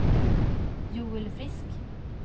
Joel Frisk